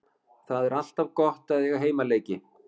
Það er alltaf gott að eiga heimaleiki.